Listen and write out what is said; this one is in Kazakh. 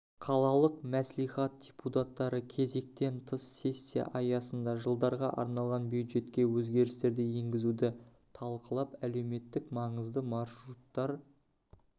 қалалық мәслихат депутаттары кезектен тыс сессия аясында жылдарға арналған бюджетке өзгерістер енгізуді талқылап әлеуметтік маңызды маршруттар